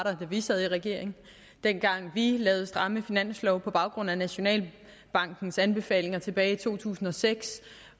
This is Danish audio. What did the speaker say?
vi sad i regering dengang vi lavede stramme finanslove på baggrund af nationalbankens anbefalinger tilbage i to tusind og seks